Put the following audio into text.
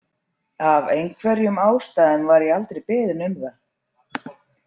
Af einhverjum ástæðum var ég aldrei beðin um það.